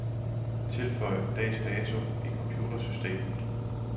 Tilføj dags dato i computersystemet.